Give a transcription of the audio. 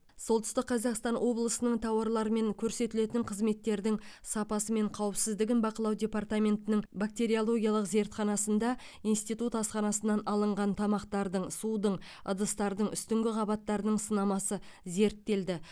солтүстік қазақстан облысының тауарлар мен көрсетілетін қызметтердің сапасы мен қауіпсіздігін бақылау департаментінің бактериологиялық зертханасында институт асханасынан алынған тамақтардың судың ыдыстардың үстіңгі қабаттарының сынамасы зерттелді